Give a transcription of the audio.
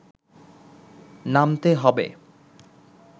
নামতে হবে